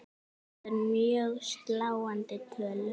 Þetta eru mjög sláandi tölur.